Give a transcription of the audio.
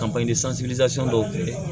dɔw feere